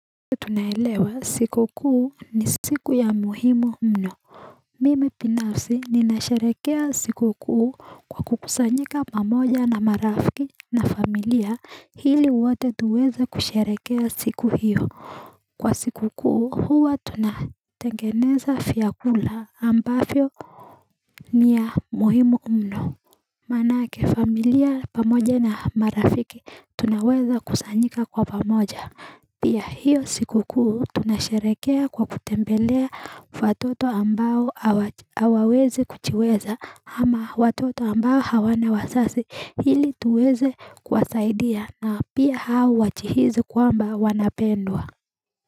Tunaelewa siku kuu ni siku ya muhimu mno. Mimi binafsi ninasharekea siku kuu kwa kukusanyika pamoja na marafiki na familia hili wote tuweze kusherekea siku hiyo. Kwa siku kuu, huwa tunatengeneza fyakula ambafyo ni ya muhimu mno. Manake familia pamoja na marafiki tunaweza kusanyika kwa pamoja, pia hiyo siku kuu tunasherekea kwa kutembelea watoto ambao Hawawezi kujiweza, ama watoto ambao hawana wazazi hili tuweze kwasaidia na pia hao wajihizi kwamba wanapendwa.